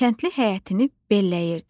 Kəndli həyətini belləyirdi.